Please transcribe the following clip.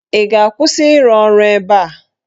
Ị ga-akwụsị ịrụ ọrụ ebe a?